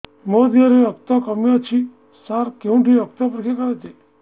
ମୋ ଦିହରେ ରକ୍ତ କମି ଅଛି ସାର କେଉଁଠି ରକ୍ତ ପରୀକ୍ଷା କରାଯାଏ